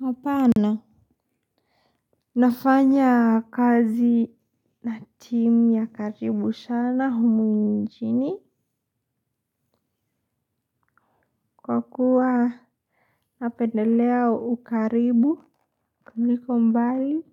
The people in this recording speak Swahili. Hapana nafanya kazi na timu ya karibu sana humu nchini. Kwa kuwa napendelea ukaribu kuliko mbali